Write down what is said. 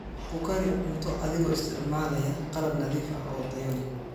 Ku kari cunto adigoo isticmaalaya qalab nadiif ah oo tayo leh.